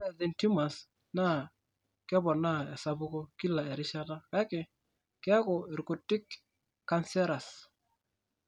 Ore Warthin tumors naa keponaa esapuko kila erishata, kake keeku irkutik cancerous.